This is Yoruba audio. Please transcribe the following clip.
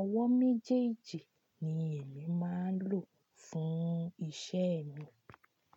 Ọwọ́ méjèèjì ni èmi máa ń lò fún iṣẹ́ mi.